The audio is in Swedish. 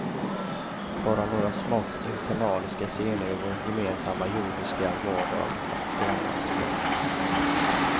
Bara några smått infernaliska scener ur vår gemensamma jordiska vardag att skrämma oss med.